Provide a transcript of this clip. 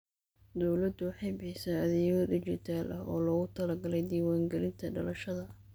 Dawladdu waxay bixisaa adeegyo dhijitaal ah oo loogu talagalay diiwaangelinta dhalashada.